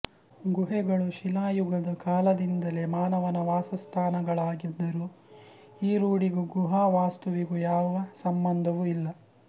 ಗುಹೆಗಳು ಶಿಲಾಯುಗದ ಕಾಲದಿಂದಲೇ ಮಾನವನ ವಾಸಸ್ಥಾನಗಳಾಗಿದ್ದರೂ ಈ ರೂಢಿಗೂ ಗುಹಾ ವಾಸ್ತುವಿಗೂ ಯಾವ ಸಂಬಂಧವೂ ಇಲ್ಲ